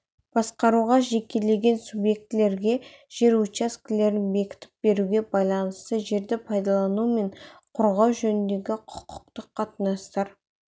басқаруға жекелеген субъектілерге жер учаскелерін бекітіп беруге байланысты жерді пайдалану мен қорғау жөніндегі құқықтық қатынастар